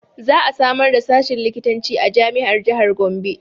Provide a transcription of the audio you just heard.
Za a samar da sashin likitanci a jami'ar jahar Gombe